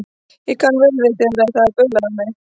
Ég kann vel við það þegar það er baulað á mig.